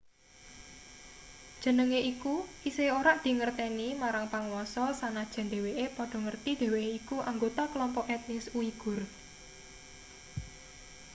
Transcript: jenenge iku isih ora dingerteni marang panguasa sanajan dheweke padha ngerti dheweke iku anggota kelompok etnis uigur